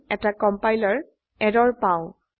আমি এটা compiler error পাই